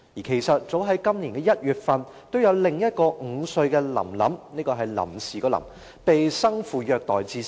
其實，早於今年1月，也有另一名5歲女童"臨臨"——是"臨時"的"臨"——被生父虐待至死。